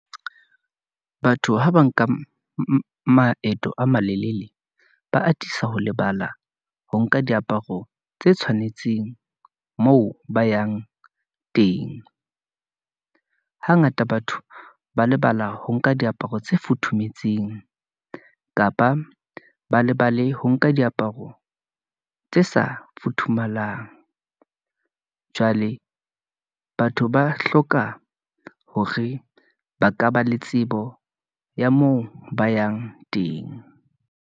Batho ha ba nka maeto a malelele, ba atisa ho lebala ho nka diaparo tse tshwanetseng moo ba yang teng , hangata batho ba lebala ho nka diaparo tse futhumetseng, kapa ba lebale ho nka diaparo tse sa futhumalang . Jwale batho ba hloka hore ba ka ba le tsebo ya moo ba yang teng.